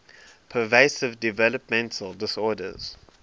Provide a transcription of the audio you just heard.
pervasive developmental disorders